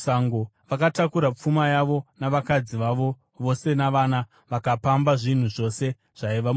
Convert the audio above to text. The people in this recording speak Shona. Vakatakura pfuma yavo navakadzi vavo vose navana, vakapamba zvinhu zvose zvaiva mudzimba.